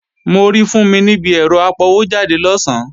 Mo rí Fúnmi níbi ẹ̀rọ apọwójáde lọ̀sán